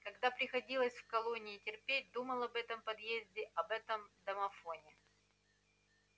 когда приходилось в колонии терпеть думал об этом подъезде об этом домофоне